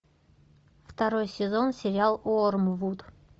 второй сезон сериал уормвуд